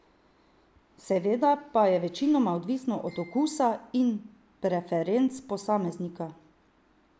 Seveda pa je večinoma odvisno od okusa in preferenc posameznika.